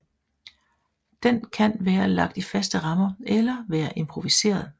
Den kan være lagt i faste rammer eller være improviseret